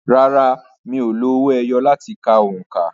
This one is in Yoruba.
Rárá, mi ò lo owó ẹyọ láti ka òǹkà.